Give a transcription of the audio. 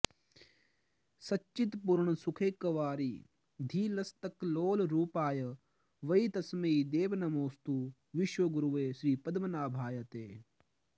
सच्चित्पूर्णसुखैकवारिधि लसत्कल्लोलरूपाय वै तस्मै देव नमोऽस्तु विश्वगुरवे श्रीपद्मनाभाय ते